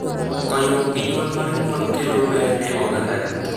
Konyruok gi nyuol mar nyuol kelo ber ne oganda duto.